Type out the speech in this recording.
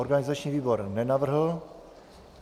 Organizační výbor nenavrhl.